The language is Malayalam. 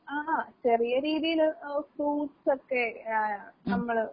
ആഹ് ചെറിയ രീതീല് ഓഹ് ഫ്രൂട്ട്സൊക്കെ ആഹ് നമ്മള്.